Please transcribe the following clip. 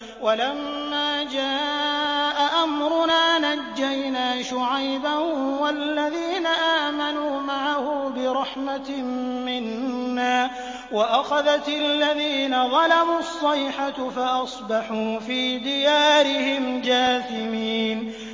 وَلَمَّا جَاءَ أَمْرُنَا نَجَّيْنَا شُعَيْبًا وَالَّذِينَ آمَنُوا مَعَهُ بِرَحْمَةٍ مِّنَّا وَأَخَذَتِ الَّذِينَ ظَلَمُوا الصَّيْحَةُ فَأَصْبَحُوا فِي دِيَارِهِمْ جَاثِمِينَ